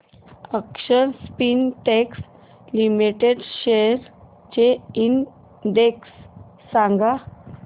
अक्षर Spintex Limited shares चा index सांगा